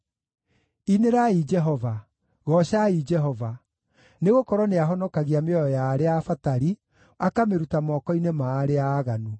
Inĩrai Jehova! Goocai Jehova! Nĩgũkorwo nĩahonokagia mĩoyo ya arĩa abatari, akamĩruta moko-inĩ ma arĩa aaganu.